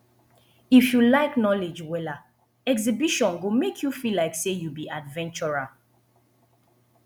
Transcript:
if you like knowledge wella exhibition go make you feel like say you be adventurer